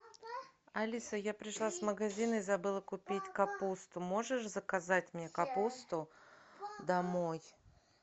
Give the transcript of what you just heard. алиса я пришла с магазина и забыла купить капусту можешь заказать мне капусту домой